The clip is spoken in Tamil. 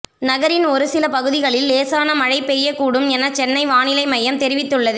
நகரின் ஒரு சில பகுதிகளில் லேசான மழை பெய்யக்கூடும் என சென்னை வானிலை மையம் தெரிவித்துள்ளது